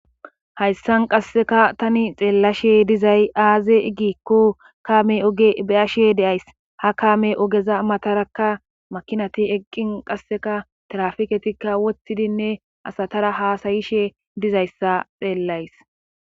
Hayssan qasseka tani xeellashe dizay aaze igikko kame oge beashe deays ha kaame ogeza matarakka makinati eqqin qasseka tirafiketikka wottidinne asatara haasayishe dizayssa xeellays.